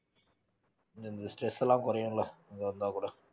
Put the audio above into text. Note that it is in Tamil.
இந்த இந்த stress லாம் குறையும்ல இங்க வந்தா கூட